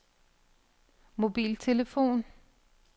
mobiltelefon